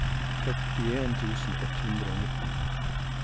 førtien tusen ett hundre og nitten